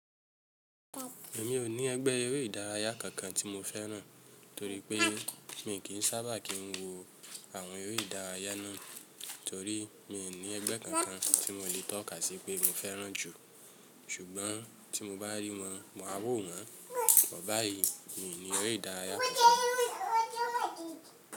Èmi ò ní ẹgbẹ́ eré ìdárayá kankan tí mo fẹ́ràn torí pé mi kì í sábà kín wo àwọn eré ìdárayá náà torí mi ò ní ẹgbẹ́ kankan tí mo lè tọ́ka sí pé mo fẹ́ràn jù. Ṣùgbọ́n tí mo bá rí wọn, màá wò wọ́n. But báyí, mi ò ní eré ìdárayá kankan.